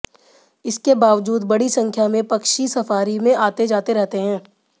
इसके बावजूद बड़ी संख्या में पक्षी सफारी में आते जाते रहते हैं